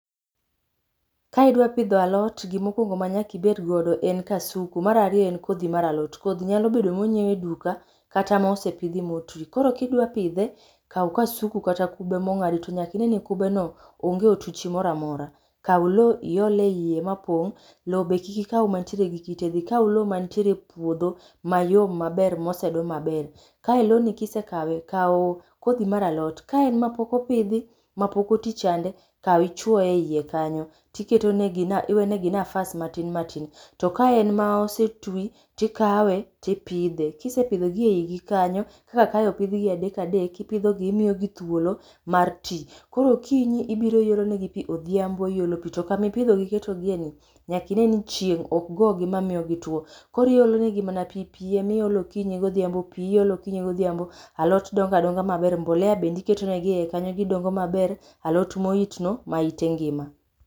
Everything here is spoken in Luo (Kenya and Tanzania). Ka idwa pidho alot, gimokwongo manyaka ibedgo en kasuku, marario en kodhi mar alot. Kodhi nyalo bedo monyieu e duka, kata mosepidhi motii. Koro kidwa pidhe, kau kasuku kata kube mong'adi, to nyaka ine ni kubeno onge otuchi moramora. Kau lowo iol e iye mapong'. Lowo be kiki kau mantiere gi kite, dhi kau lowo mantiere e puodho mayom maber maosedoo maber. Kae lowoni kisekawe, kau kodhi mar alot, kaen ma pok opidhi, mapok otii chande, kau ichwo e e iye kanyo. Tiketonegi na iwenegi nafas matin matin. To kaen maosetwi tikawe tipidhe. Kisepidhogi eigi kanyo, kaka kae opidhgi adek adek, ipidhogi, imiogi thwolo mar ti. Koro okinyi ibiro iolonegi pii, odhiambo iolonegi pii, to kami pidhogi iketogieni, nyaka ineni chieng' okgogi mamio gitwo. Koro iolonegi mana pii, pii emiolo okinyi godhiambo pii iolo okinyi godhiambo, alot donga donga maber, mbolea bende iketonegi eie kanyo, gidongo maber, alot mohitno maita ngima.